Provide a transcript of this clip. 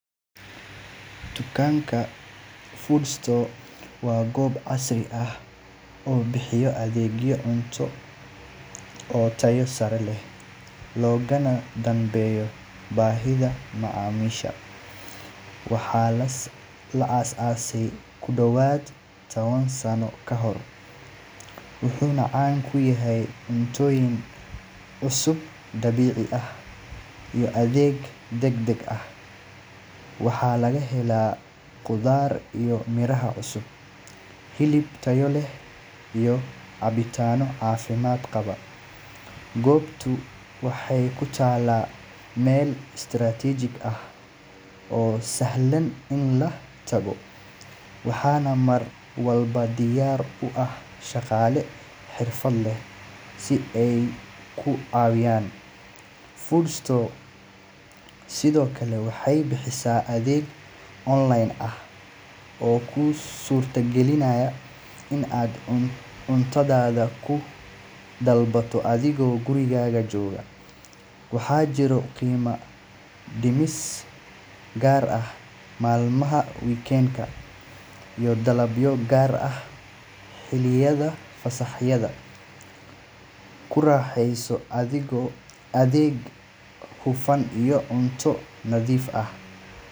Dukaanka Food Store L waa goob casri ah oo bixisa adeegyo cunto oo tayo sare leh, loogana danbeeyo baahida macaamiisha. Waxaa la aasaasay ku dhowaad ten sano ka hor, wuxuuna caan ku yahay cuntooyin cusub, dabiici ah iyo adeeg degdeg ah. Waxaa laga helaa khudaar iyo miraha cusub, hilib tayo leh, iyo cabitaanno caafimaad qaba. Goobtu waxay ku taallaa meel istiraatiiji ah oo sahlan in la tago, waxaana mar walba diyaar u ah shaqaale xirfad leh si ay kuu caawiyaan. Food Store L sidoo kale waxay bixisaa adeeg online ah, oo kuu suurta gelinaya in aad cuntadaada ku dalbato adigoo gurigaaga jooga. Waxaa jira qiimo dhimis gaar ah maalmaha weekend-ka iyo dalabyo gaar ah xilliyada fasaxyada. Ku raaxayso adeeg hufan iyo cunto nadiif ah.